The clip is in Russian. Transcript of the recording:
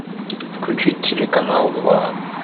включить телеканал два